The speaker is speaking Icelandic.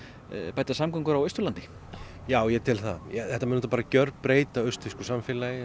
bæta samgöngur á Austurlandi já ég tel það þetta mun gjörbreyta austfirsku samfélagi